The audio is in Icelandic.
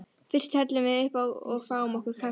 Fyrst hellum við uppá og fáum okkur kaffitár.